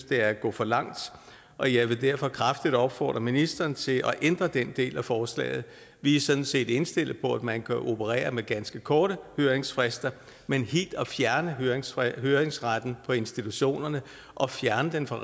det er at gå for langt og jeg vil derfor kraftigt opfordre ministeren til at ændre den del af forslaget vi er sådan set indstillet på at man kan operere med ganske korte høringsfrister men helt at fjerne høringsretten høringsretten for institutionerne og at fjerne den for